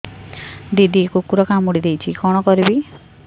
ଦିଦି କୁକୁର କାମୁଡି ଦେଇଛି କଣ କରିବି